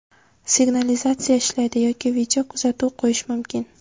Signalizatsiya ishlaydi yoki video kuzatuv qo‘yish mumkin.